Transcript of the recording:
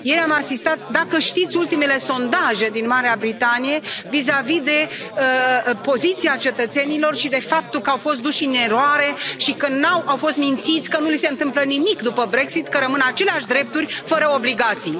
Ieri am asistat, dacă știți ultimele sondaje din Marea Britanie, vizavi de poziția cetățenilor și de faptul că au fost induși în eroare și că au fost mințiți că nu li se întâmplă nimic după Brexit, că rămân aceleași drepturi fără obligații.